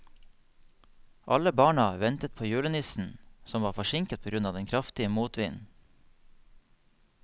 Alle barna ventet på julenissen, som var forsinket på grunn av den kraftige motvinden.